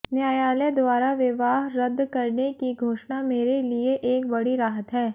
न्यायालय द्वारा विवाह रद्द करने की घोषणा मेरे लिए एक बड़ी राहत है